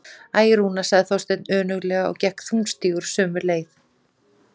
Æ, Rúna- sagði Þorsteinn önuglega og gekk þungstígur sömu leið.